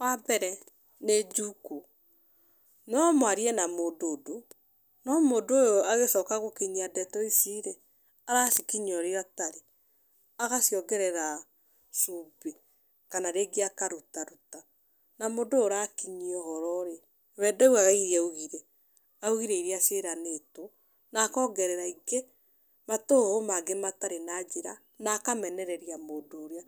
Wa mbere nĩ njukũ. No mwarie na mũndũ ũndũ, no mũndũ ũyũ agĩcoka gũkinyia ndeto ici rĩ, aracikinyia ũrĩa ũtarĩ. Agaciongerera cumbĩ. Kana rĩngĩ akarutaruta. Na mũndũ ũyũ ũrakinyia ũhũro rĩ, we ndaugaga irĩa augire, augire irĩa ciĩranirwo, na akongerera ingĩ, matũhũhũ make matarĩ na njĩra, na akamenereria mũndũ ũyũ.